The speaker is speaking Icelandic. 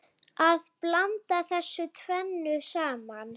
Að blanda þessu tvennu saman.